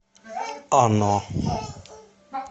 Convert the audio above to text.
оно